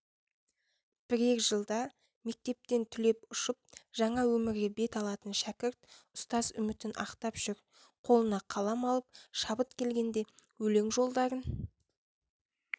бірер жылда мектептен түлеп ұшып жаңа өмірге бет алатын шәкірт ұстаз үмітіп ақтап жүр қолына қалам алып шабыт келгенде өлең жолдарын